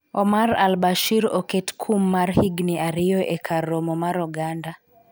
Omar al Bashir oket kum mar higni ariyo e kar romo mar oganda